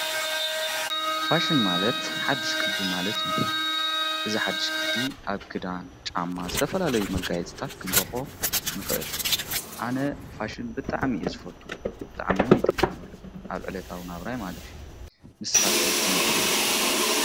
ፋሽን ማለት ሓድሽ ቅዲ ማለት እዩ እዛ ሓሽ ቅዲ ኣብ ክዳን ጫማ ዘተፈላለይ መጋየት ጽታት ክንራኾ ንኽእል ኣነ ፋሽን ብጥዕሚዩ ዝፈቱ ብጥዕምውን ይትቀምሉ ኣብ ዕለታውን ኣብራይ ማለት እዩ ንስኻትኩም ከኸሜትር ይቦ::